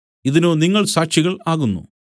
ഇതിനു നിങ്ങൾ സാക്ഷികൾ ആകുന്നു